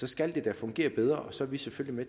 skal det da fungere bedre og så er vi selvfølgelig